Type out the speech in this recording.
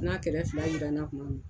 N'a kɛrɛfɛ fila jiranna kuma min